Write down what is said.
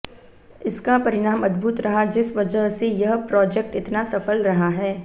इसका परिणाम अद्भुत रहा जिस वजह से यह प्रॉजेक्ट इतना सफल रहा है